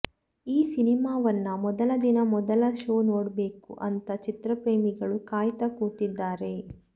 ಈ ಸಿನಿಮಾವನ್ನ ಮೊದಲ ದಿನ ಮೊದಲ ಶೋ ನೋಡ್ಬೇಕು ಅಂತ ಚಿತ್ರಪ್ರೇಮಿಗಳು ಕಾಯ್ತಾ ಕೂತಿದ್ದಾರೆ